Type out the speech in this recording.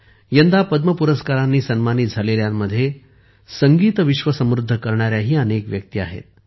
यंदा पद्म पुरस्कारांनी सन्मानित झालेल्यांमध्ये संगीतविश्व समृद्ध करणाऱ्याही अनेक व्यक्ती आहेत